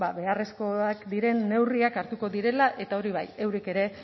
ba beharrezkoak diren neurriak hartuko direla eta hori bai eurek ere